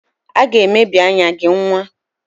Ị ga-emebi anya gị nwa!